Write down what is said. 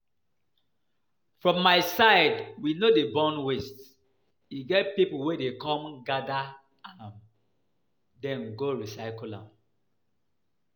For my side we no dey burn waste, e get people wey dey come gather am den go recycle am